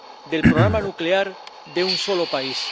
del programa nuclear de un solo país.